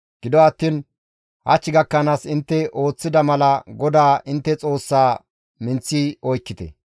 Gido attiin hach gakkanaas intte ooththida mala GODAA intte Xoossaa minththi oykkite.